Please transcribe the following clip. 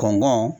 Kɔnɔnan